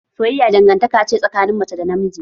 Soyayya dangantaka ce tsakanin mace da namiji.